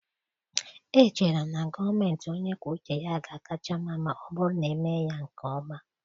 Echere m na gọọmentị onye kwuo uche ya ga-akacha mma ma ọ bụrụ na emee ya nke ọma.